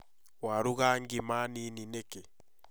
Warũga ngima nini nĩkĩ?